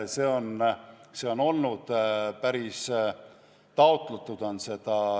Seda on taotletud.